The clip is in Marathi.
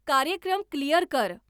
कार्यक्रम क्लिअर कर